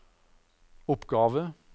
oppgave